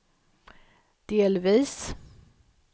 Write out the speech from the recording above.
delvis